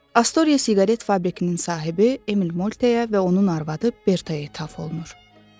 Astoria siqaret fabrikinin sahibi Emil Multeəyə və onun arvadı Bertaəyə təf olunur.